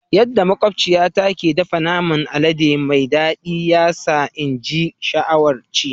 Yadda makwabciyata ke dafa naman alade mai daɗi ya sa ina ji sha'awar ci.